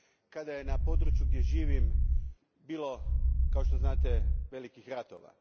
kada je na području gdje živim bilo kao što znate velikih ratova.